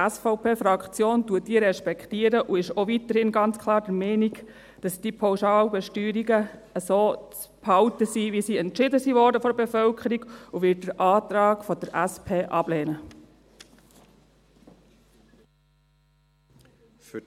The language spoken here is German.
Die SVP-Fraktion respektiert diese, und sie ist auch weiterhin ganz klar der Meinung, dass diese Pauschalbesteuerungen so beizubehalten sind, wie sie von der Bevölkerung beschlossen wurden, und sie wird den Antrag der SP ablehnen.